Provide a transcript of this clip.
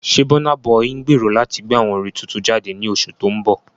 Ṣé Burna Boy ń gbèrò láti gbé àwo orin tuntun jáde ní oṣù tó ń bọ̀?